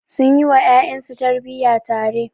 Sun yi wa ƴaƴansu tarbiyya tare.